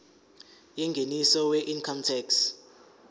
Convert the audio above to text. yengeniso weincome tax